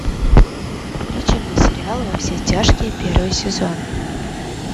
включи мне сериал во все тяжкие первый сезон